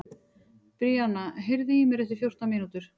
Bríanna, heyrðu í mér eftir fjórtán mínútur.